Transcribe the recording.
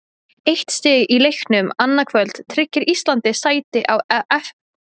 Eitt stig í leiknum annað kvöld tryggir Íslandi sæti á EM í Frakklandi næsta sumar.